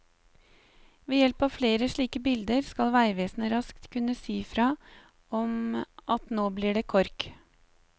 Ved hjelp av flere slike bilder skal veivesenet raskt kunne si i fra om at nå blir det kork.